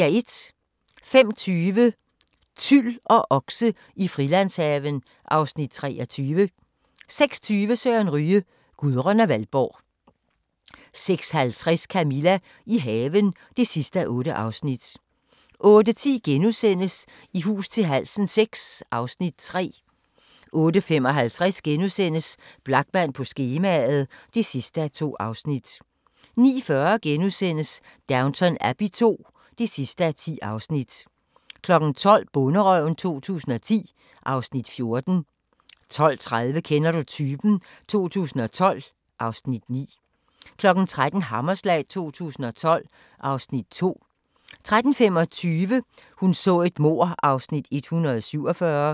05:20: Tyl og okse i Frilandshaven (Afs. 23) 06:20: Sørens Ryge: Gudrun og Valborg 06:50: Camilla – i haven (8:8) 08:10: I hus til halsen VI (Afs. 3)* 08:55: Blachman på skemaet (2:2)* 09:40: Downton Abbey II (10:10)* 12:00: Bonderøven 2010 (Afs. 14) 12:30: Kender du typen? 2012 (Afs. 9) 13:00: Hammerslag 2012 (Afs. 2) 13:25: Hun så et mord (Afs. 147)